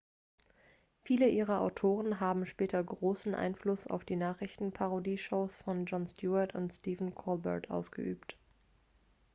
viele ihrer autoren haben später großen einfluss auf die nachrichtenparodie-shows von jon stewart and stephen colbert ausgeübt